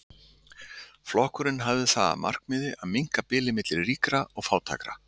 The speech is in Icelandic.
Flokkurinn hafði það að markmiði að minnka bilið milli ríkra og fátækra.